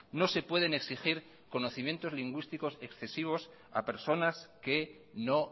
no se pueden exigir conocimientos lingüísticos excesivos a personas que no